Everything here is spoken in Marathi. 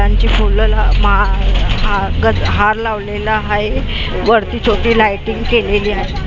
त्यांची फुलं लाव माळ गज हार लावलेला आहे वरती छोटी लायटिंग केलेली आहे.